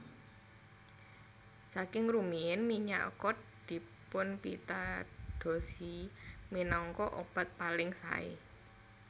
Saking rumiyin minyak kod dipunpitadosi minangka obat paling saé